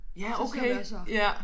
Ja okay ja